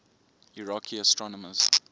iraqi astronomers